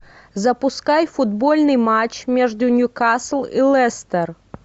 запускай футбольный матч между ньюкасл и лестер